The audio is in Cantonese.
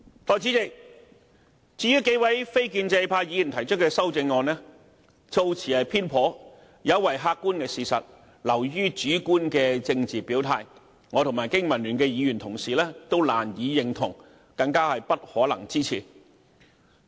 代理主席，至於數位非建制派議員提出的修正案，措辭偏頗，有違客觀事實，流於主觀的政治表態，我和經民聯議員同事都難以認同，更不可能支持。